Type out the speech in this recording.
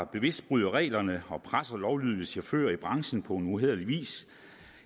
bevidst bryder reglerne og presser lovlydige chauffører i branchen på uhæderlig vis